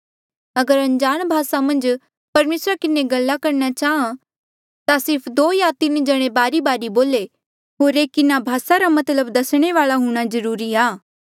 अगर अनजाण भासा मन्झ परमेसरा किन्हें गल्ला करणा चाहां ता सिर्फ दो या तीन जणे बारीबारी बोले होर एक इन्हा भासा रा मतलब दसणे वाल्आ हुणा जरूरी आ